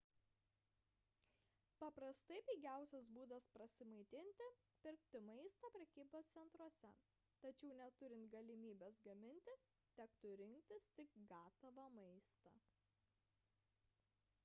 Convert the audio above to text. paprastai pigiausias būdas prasimaitinti – pirkti maistą prekybos centruose tačiau neturint galimybės gaminti tektų rinktis tik gatavą maistą